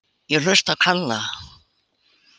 Ég hlusta á Kalla.